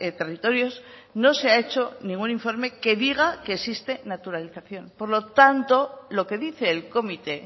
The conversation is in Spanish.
territorios no se ha hecho ningún informe que diga que existe naturalización por lo tanto lo que dice el comité